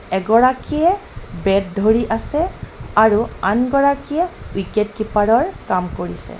এগৰাকীয়ে বেট ধৰি আছে আৰু আনগৰাকীয়ে উইকেট কিপাৰৰ কাম কৰিছে।